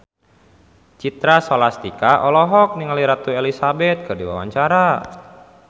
Citra Scholastika olohok ningali Ratu Elizabeth keur diwawancara